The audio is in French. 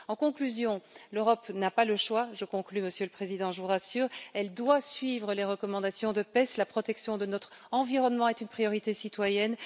En conclusion, l'Europe n'a pas le choix je conclus, Monsieur le Président, je vous rassure elle doit suivre les recommandations de la commission PEST. La protection de notre environnement est une priorité citoyenne.